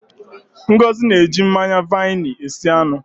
Ngozi na-eji mmanya vaini esi anụ.